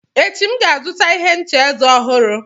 Echi, M ga-azụta ihe ncha eze ọhụrụ.